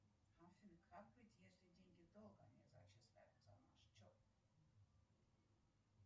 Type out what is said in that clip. афина как быть если деньги долго не зачисляются на счет